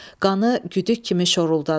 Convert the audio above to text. Qanı güdük kimi şoruldadı.